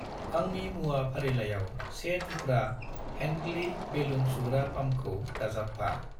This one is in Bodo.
आंनि मुवा फारिलाइयाव 1 थुख्रा हेंक्लि बेलुन सुग्रा पाम्पखौ दाजाबफा।